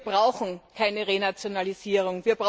Wir brauchen keine Renationalisierung!